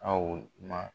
Aw ma